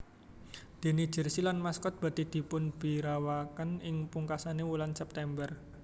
Déné jersey lan maskot badhé dipunbiwarakaken ing pungkasaning wulan September